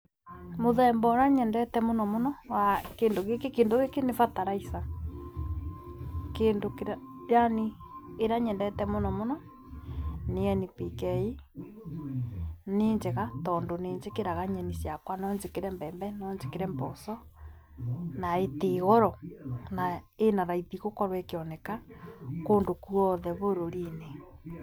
Mũthemba ũrĩa nyendete mũno mũno wa kĩndũ gĩkĩ, kĩndũ gĩkĩ nĩ bataraica, kĩndũ kĩrĩa yani ĩrĩa nyendete mũno nĩ NPK, nĩ njega tondũ nĩ njĩkĩraga nyeni ciakwa, no njĩkire mbembe, no njĩkĩre mboco. na ĩtĩĩ goro. Na ĩna raithi gũkorwo ikĩoneka kũndũ kuothe bũrũri-inĩ.